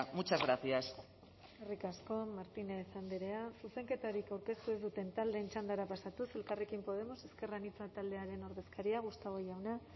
muchas gracias eskerrik asko martínez andrea zuzenketarik aurkeztu ez duten taldeen txandara pasatuz elkarrekin podemos ezker anitza taldearen ordezkaria gustavo jauna